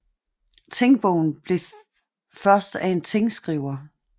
Tingbogen blev først af en tingskriver